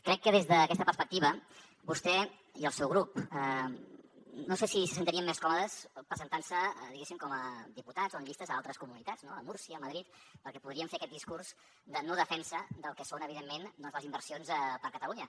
crec que des d’aquesta perspectiva vostè i el seu grup no sé si se sentirien més còmodes presentant se diguéssim com a diputats o en llistes a altres comunitats a múrcia a madrid perquè podrien fer aquest discurs de no defensa del que són evidentment doncs les inversions per a catalunya